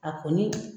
A kɔni